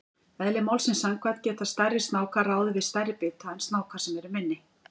Eðli málsins samkvæmt geta stærri snákar ráðið við stærri bita en snákar sem eru minni.